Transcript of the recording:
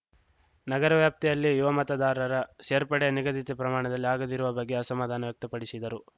ನಗರ ವ್ಯಾಪ್ತಿಯಲ್ಲಿ ಯುವ ಮತದಾರರ ಸೇರ್ಪಡೆ ನಿಗದಿತ ಪ್ರಮಾಣದಲ್ಲಿ ಆಗದಿರುವ ಬಗ್ಗೆ ಅಸಮಾಧಾನ ವ್ಯಕ್ತಪಡಿಸಿದರು